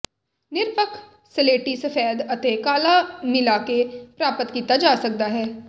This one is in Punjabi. ਨਿਰਪੱਖ ਸਲੇਟੀ ਸਫੈਦ ਅਤੇ ਕਾਲਾ ਮਿਲਾ ਕੇ ਪ੍ਰਾਪਤ ਕੀਤਾ ਜਾ ਸਕਦਾ ਹੈ